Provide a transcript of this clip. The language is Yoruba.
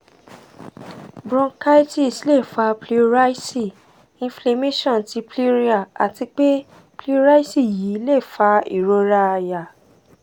bronchitis le fa pleurisy inflammation ti pleura ati pe pleurisy yii le fa irora àyà